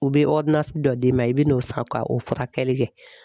U bɛ dɔ d'i ma i bɛ n'o san ka o furakɛli kɛ.